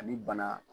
Ani bana